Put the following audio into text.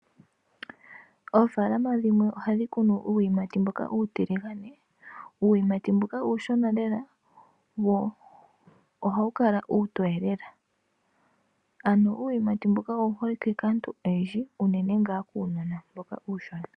Oofalama dhimwe ohadhi kunu uuyimati mboka uutiligane ,uuyimati mbuka uushona lela ohawu kala uutoye lela ano uuyimati mbuka owu hole like kaantu oyendji uunene ngaa kuunona mboka uushona .